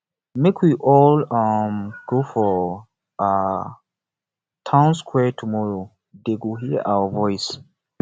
make we all um go for um town square tomorrow dey go hear our voice